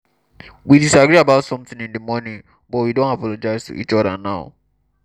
we disagree about something in the morning but we don apologize to each other now